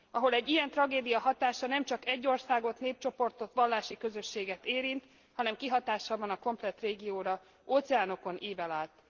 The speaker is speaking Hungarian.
Ahol egy ilyen tragédia hatása nem csak egy országot, népcsoportot, vallási közösséget érint, hanem kihatással van a komplett régióra, óceánokon ível át.